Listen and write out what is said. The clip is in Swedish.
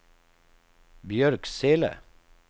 Björksele